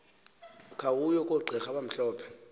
khawuye kogqira abamhlophe